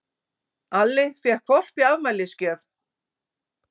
Alli fékk hvolp í afmælisgjöf.